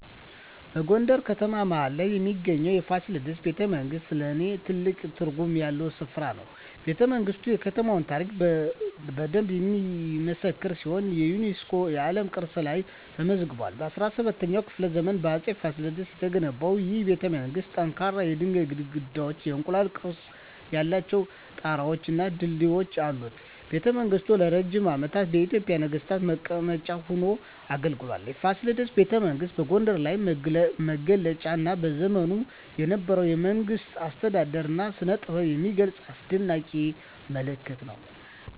በጎንደር ከተማ መሀል ላይ የሚገኘው የፋሲለደስ ቤተመንግሥት ለኔ ትልቅ ትርጉም ያለው ስፍራ ነው። ቤተመንግስቱ የከተማዋን ታሪክ በደንብ የሚመሰክር ሲሆን የዩኔስኮ የዓለም ቅርስ ላይም ተመዝግቧል። በ17ኛው ክፍለ ዘመን በአፄ ፋሲለደስ የተገነባው ይህ ቤተመንግሥት ጠንካራ የድንጋይ ግድግዳዎች፣ የእንቁላል ቅርፅ ያላቸው ጣራወች እና ድልድዮች አሉት። ቤተመንግሥቱ ለረጅም ዓመታት የኢትዮጵያ ነገሥታት መቀመጫ ሆኖ አገልግሏል። የፋሲለደስ ቤተመንግሥት የጎንደርን ልዩ መገለጫ እና በዘመኑ የነበረውን የመንግሥት አስተዳደር እና ስነጥበብ የሚገልጽ አስደናቂ ምልክት ነው።